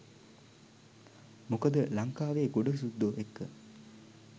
මොකද ලංකාවෙ ගොඩ සුද්දො එක්ක